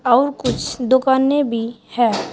और कुछ दुकानें भी है।